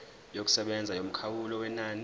yokusebenza yomkhawulo wenani